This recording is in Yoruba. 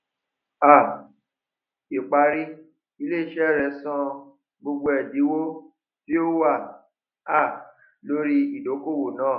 um ìparí iléiṣé rẹ san gbogbo èdinwo ti o wa um lori idokowo nàá